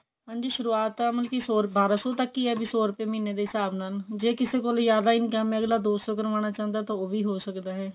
ਹਾਂਜੀ ਸ਼ੁਰੁਵਾਤ ਤਾਂ ਮਤਲਬ ਕਿ ਸੋ ਬਾਰਾਂ ਸੋ ਤੱਕ ਹੀ ਹੈ ਜੇ ਸੋ ਰੂਪਏ ਮਹੀਨੇ ਦੇ ਹਿਸਾਬ ਨਾਲ ਜੇ ਕਿਸੇ ਕੋਲ ਜਿਆਦਾ income ਐ ਅਗਲਾ ਦੋ ਸੋ ਕਰਵਾਨਾ ਚਾਹੰਦਾ ਹੈ ਤਾਂ ਉਹ ਵੀ ਹੋ ਸਕਦਾ ਹੈ